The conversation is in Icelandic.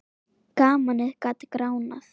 Gamanið gat gránað.